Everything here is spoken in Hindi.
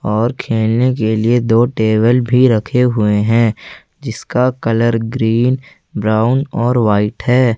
और खेलने के लिए दो टेबल भी रखे हुए हैं जिसका कलर ग्रीन ब्राउन और व्हाइट है।